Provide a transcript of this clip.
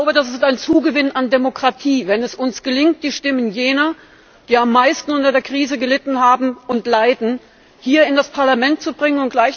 Das ist ein Zugewinn an Demokratie, wenn es uns gelingt, die Stimmen jener, die am meisten unter der Krise gelitten haben und leiden, hier in das Parlament zu bringen.